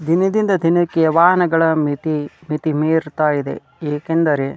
ದಿನದಿಂದ ದಿನಕ್ಕೆ ವಹನಗಳ ಮಿತಿ ಮಿತಿಮೀರತಾ ಇದೆ ಏಕೆಂದರೆ --